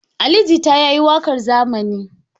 Ali Jita ya yi waƙar zamani.